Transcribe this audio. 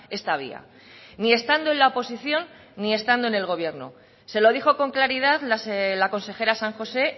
esta vía ni estando en la oposición ni estando en el gobierno se lo dijo con claridad la consejera san josé